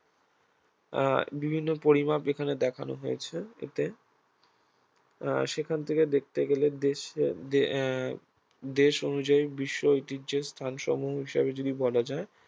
আহ বিভিন্ন পরিমাপ এখানে দেখেন হয়েছে এতে আহ সেখান থেকে দেখতে গেলে দেশে আহ দেশ অনুযায়ী বিশ্ব ঐতিহ্যের স্থানসমূহ বিষয়ে যদি বলা যায়